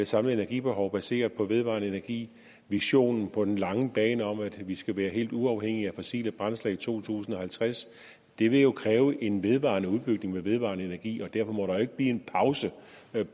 samlede energibehov baseret på vedvarende energi visionen på den lange bane om at vi skal være helt uafhængige af fossile brændsler i to tusind og halvtreds det vil jo kræve en vedvarende udbygning af den vedvarende energi og derfor må der ikke blive en pause